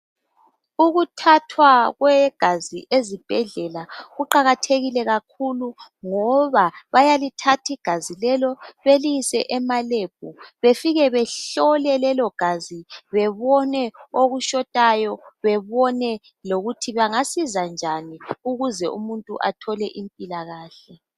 Ukuthathwa kwegazi ezibhedlela kuqakathekile kakhulu ngoba bayalithath' igazi lelo beliyise ema lab befike behlole lelogazi benone okushotayo, bebone lokuthi bangasiza njani ukuze umuntu athole impilakahle.